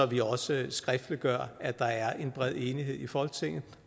vi også skriftliggør at der er bred enighed i folketinget